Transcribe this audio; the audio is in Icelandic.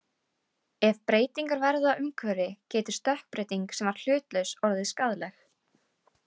Ef breytingar verða á umhverfi getur stökkbreyting sem var hlutlaus orðið skaðleg.